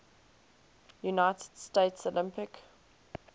united states olympic